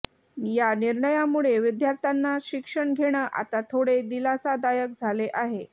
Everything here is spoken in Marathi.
या निर्णयामुळे विद्यार्थ्यांना शिक्षण घेणं आता थोडे दिलासादायक झाले आहे